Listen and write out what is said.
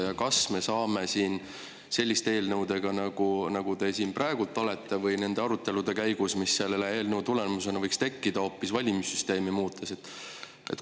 Ja kas me saame siin selliste eelnõudega nagu see, millega te siin praegu olete, või nende arutelude käigus, mis selle eelnõu tulemusena võiks tekkida, hoopis valimissüsteemi muuta.